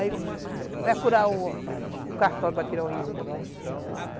Aí, para procurar o cartório para tirar o registro, né?